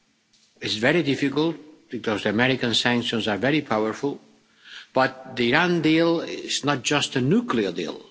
It is very difficult because the American sanctions are very powerful, but the Iran deal is not just a nuclear deal.